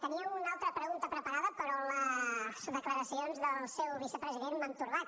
tenia una altra pregunta preparada però les declaracions del seu vicepresident m’han torbat